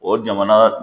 O jamana